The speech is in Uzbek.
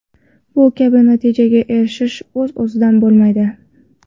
Bu kabi natijaga erishish o‘z-o‘zidan bo‘lmaydi.